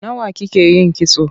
Nawa kike yin kitso?